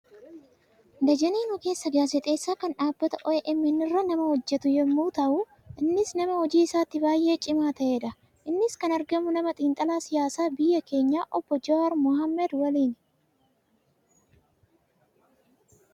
Dajaneen ogeessa gaazexeessaa kan dhaabbata OMN irra nama hojjetu yemmuu taatu, innis nama hojii isaatti baayyee cimaa ta'edha. Innis kan argamu, nama xinxalaa siyaasaa biyya keenyaa Oobboo Jawaar Mahammad waliin.